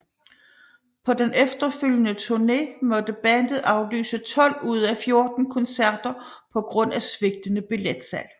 På den efterfølgende turné måtte bandet aflyse 12 ud af 14 koncerter på grund af svigtende billetsalg